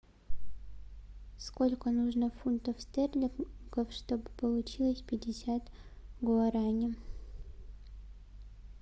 сколько нужно фунтов стерлингов чтобы получилось пятьдесят гуарани